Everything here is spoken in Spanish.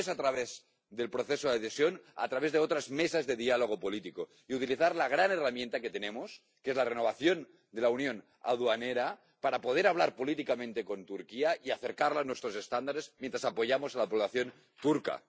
si no es a través del proceso de adhesión, a través de otras mesas de diálogo político, y utilizar la gran herramienta que tenemos, que es la renovación de la unión aduanera, para poder hablar políticamente con Turquía y acercarla a nuestros estándares mientras apoyamos a la población turca.